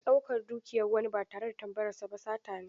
Ɗaukan dukiyar wani ba tare da tambayarsa ba sata ne.